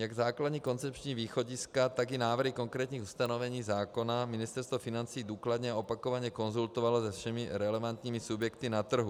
Jak základní koncepční východiska, tak i návrhy konkrétních ustanovení zákona Ministerstvo financí důkladně a opakovaně konzultovalo se všemi relevantními subjekty na trhu.